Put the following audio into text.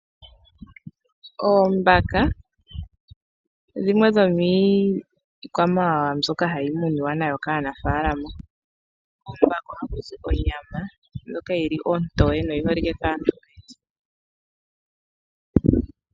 Oombaka odho dhimwe dhomii kwamawawa mbyoka hayi muniwa nayo kaanafaalama koo mbaka ohakuzi onyama ndjoka yili onteye yo oyi holikiwe kaantu.